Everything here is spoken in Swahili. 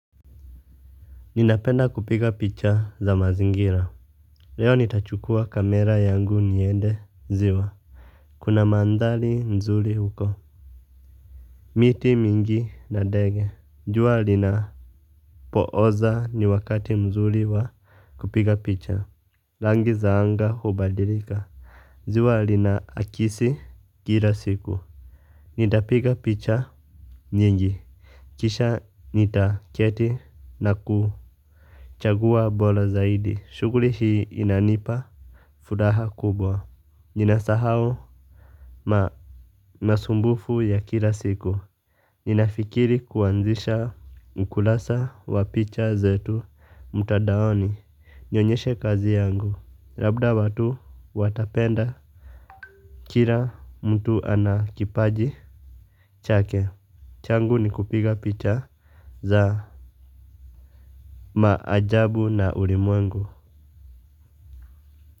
Ninapenda kupiga picha za mazingira. Leo nitachukua kamera yangu niende ziwa. Kuna mandhari nzuri huko. Miti mingi na ndege, jua linapo oza ni wakati mzuri wa kupiga picha rangi za anga hubadilika. Ziwa lina akisi kila siku. Nitapiga picha nyingi, kisha nitaketi na ku chagua bora zaidi, shughuli hii inanipa furaha kubwa. Ninasahau masumbufu ya kila siku. Ninafikiri kuanzisha ukurasa wa picha zetu mtandaoni. Nionyeshe kazi yangu, labda watu watapenda. Kila mtu ana kipaji chake, changu ni kupiga picha za maajabu na ulimwengu.